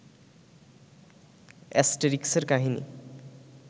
অ্যাস্টেরিক্সের কাহিনী